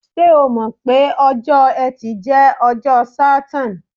Ṣé o mọ̀ pé ọjọ́ Ẹtì jẹ́ ọjọ́ Saturn?